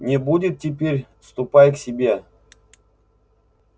ну будет теперь ступай к себе